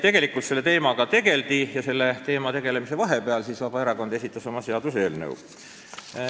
Tegelikult selle teemaga juba tegeldi ja selle teemaga tegelemise ajal esitas Vabaerakond oma seaduseelnõu.